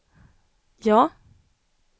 ja